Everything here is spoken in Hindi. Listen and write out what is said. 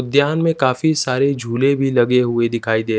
उद्द्यान में काफी सारे झूले भी लगे हुए दिखाई दे--